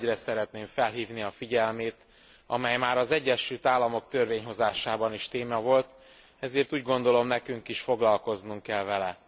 Egy olyan ügyre szeretném felhívni a figyelmét, amely már az Egyesült Államok törvényhozásában is téma volt, ezért úgy gondolom nekünk is foglalkoznunk kell vele.